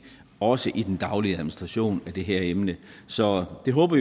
også i den daglige administration af det her emne så vi håber